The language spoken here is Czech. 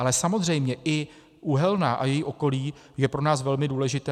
Ale samozřejmě i Uhelná a její okolí jsou pro nás velmi důležité.